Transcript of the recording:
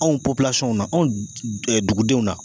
Anw pɔpilasɔnw na anw dugudenw na.